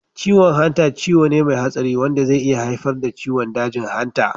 Ciwon hanta ciwo ne mai hatsari wanda zai iya haifar da ciwon dajin hanta.